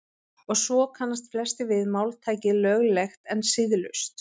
Og svo kannast flestir við máltækið löglegt en siðlaust.